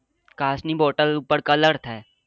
કાચ ની bottale ઉપર કલર થાય.